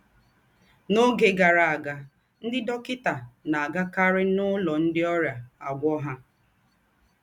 N’ọ́gè gárà àgà, ńdị́ dọ́kịtà ná-àgàkàrì n’ụlọ̀ ńdị́ ọ́rịà àgwọ́ ha.